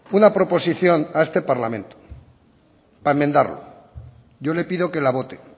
una proposición a este parlamento para enmendarlo yo le pido que la vote